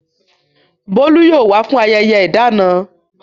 Bolu yóò wá fún ayẹyẹ ìdáná.